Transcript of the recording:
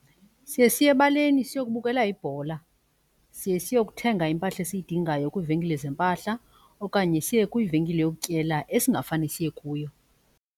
Siye siye ebaleni siyokubukela ibhola, siye siyokuthenga impahla esiyidingayo kwiivenkile zeempahla okanye siye kwivenkile yokutyela esingafane siye kuyo.